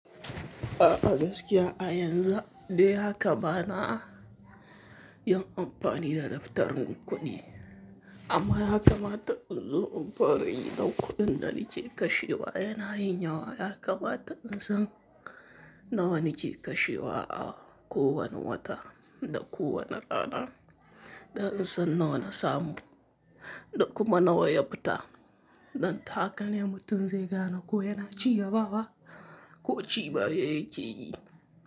A gaskiya a yanzu dai haka bana yin amfani da daftarin kuɗi amma ya kamata in zo in fara yi dan kuɗin da nake kashewa yana yin yawa. Haka mata in san nawa nike kashewa a kowani wata da kowani rana da in san nawa na samu da kuma nawa ya fita don ta haka ne mutu in zai gane ko yana ciya bawa ko ci baya yake yi.